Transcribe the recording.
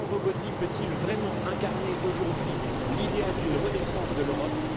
Sandro Gozi peut il vraiment incarner aujourd'hui l'idéal d'une renaissance de l'Europe?